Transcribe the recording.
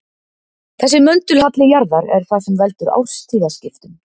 Þessi möndulhalli jarðar er það sem veldur árstíðaskiptum.